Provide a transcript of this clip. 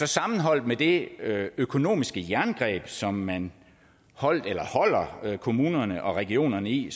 sammenholdt med det økonomiske jerngreb som man holder kommunerne og regionerne i